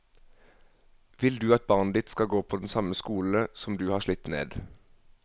Vil du at barnet ditt skal gå på den samme skole som du har slitt ned.